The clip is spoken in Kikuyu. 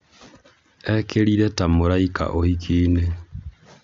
ekirire ta mũraika ũhiki-inĩ